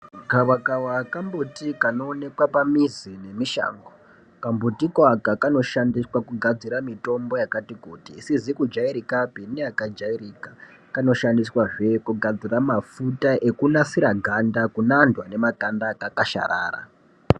Gavakava kambuti anooneka pamuzi nemushango. Kambuti kaka kanoshandiswa kugadzira mitombo yakati isizi kujairikapi neyakajairika. Kanoshandiswazve kugadira mafuta ekunasira ganda kune antu ane makanda akakwasharara.